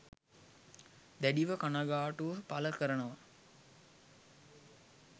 දැඩිව කනගාටුව පළ කරනවා